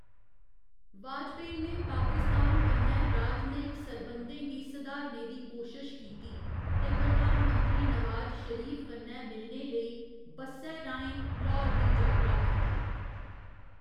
वाजपेयी ने पाकिस्तान कन्नै राजनयिक सरबंधें गी सुधारने दी कोशश कीती ते प्रधानमंत्री नवाज शरीफ कन्नै मिलने लेई बस्सै राहें लाहौर दी जातरा कीती।